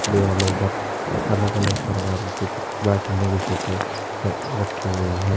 दीवालों पर अलग अलग प्रकार के चित्र बैठने की सीटें रखी हुई हैं।